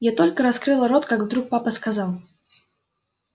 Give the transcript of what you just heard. я только раскрыла рот как вдруг папа сказал